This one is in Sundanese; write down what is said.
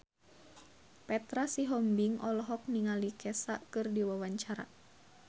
Petra Sihombing olohok ningali Kesha keur diwawancara